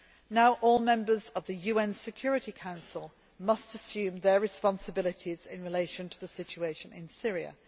Now all members of the UN Security Council must assume their responsibilities in relation to the situation in Syria.